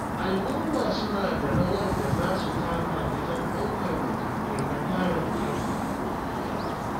Al'umma suna da rawar da za su taka wajen ɗaukar matakai na kare muhalli.